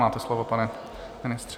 Máte slovo, pane ministře.